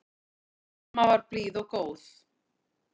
Amma var blíð og góð.